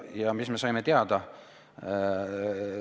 Ja mis me saime teada?